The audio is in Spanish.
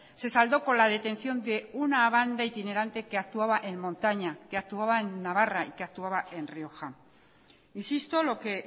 se saldó con la detención de una banda itinerante que actuaba en montaña que actuaba en navarra y que actuaba en rioja insisto lo que